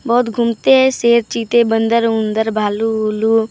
बहुत घूमते हैं शेर चीते बंदर उंदर भालू उलू पा।